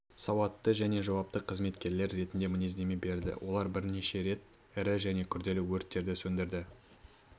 сауатты және жауапты қызметкерлер ретінде мінездеме береді олар бірнеше рет ірі және күрделі өрттерді сөндіруге